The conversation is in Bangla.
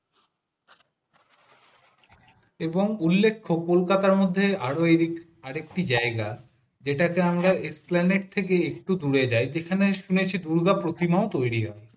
এবং উল্লেখ্য কলকাতার মধ্যে আরো এদিক আরেকটি জায়গা যেটা আমরা একটু দূরে যাই সেখানে শুনেছি দুর্গা প্রতিমা তৈরি হয়